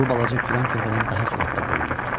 Bu balaca kürən körpədən daha sürətlə böyüyürdü.